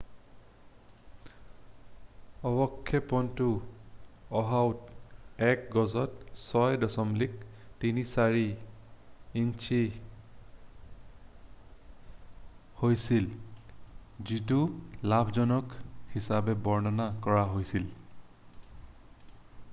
"অৱক্ষেপনটো অ'হাওত এক গজত ৬.৩৪ ইঞ্চি হৈছিল যিটো "লাভজনক" হিচাপে বৰ্ণনা কৰা হৈছিল।""